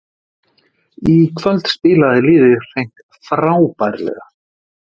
Í kvöld spilaði liðið hreint frábærlega